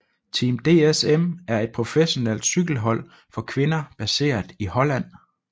Team DSM er et professionelt cykelhold for kvinder baseret i Holland